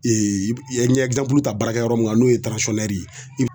i ye ɲɛgɛn bulu ta baarakɛ yɔrɔ mun na n'o ye ye